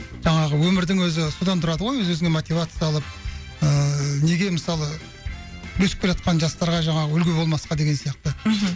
жаңағы өмірдің өзі содан тұрады ғой өз өзіне мотивация алып ыыы неге мысалы өсіп келатқан жастарға жаңағы үлгі болмасқа деген сияқты мхм